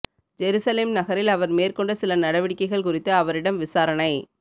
Jerusalem நகரில் அவர் மேற்கொண்ட சில நடவடிக்கைகள் குறித்து அவரிடம் விசாரணை